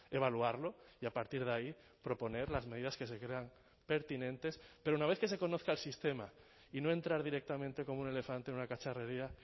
evaluarlo y a partir de ahí proponer las medidas que se crean pertinentes pero una vez que se conozca el sistema y no entrar directamente como un elefante en una cacharrería